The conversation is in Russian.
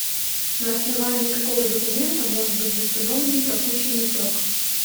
на основании какого документа может быть восстановлен пропущенный срок